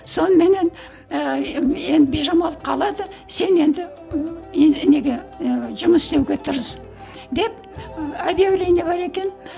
соныменен ііі енді бижамал қалады сен енді неге жұмыс істеуге тырыс деп ы обьявление бар екен